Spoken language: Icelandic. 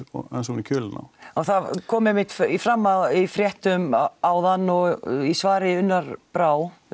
ofan í kjölinn á það kom einmitt fram í fréttum áðan og í svari Unnar Brá